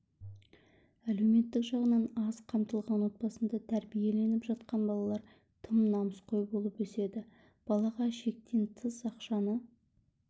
әлеуметтік жағынан аз қамтылған отбасында тәрбиеленіп жатқан балалар тым намысқой болып өседі балаға шектен тыс ақшаны